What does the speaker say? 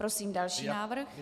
Prosím další návrh.